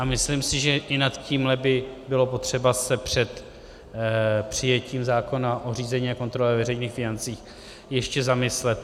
A myslím si, že i nad tímhle by bylo potřeba se před přijetím zákona o řízení a kontrole veřejných financí ještě zamyslet.